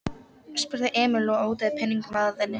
spurði Emil og otaði peningunum að henni.